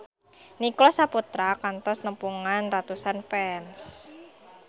Nicholas Saputra kantos nepungan ratusan fans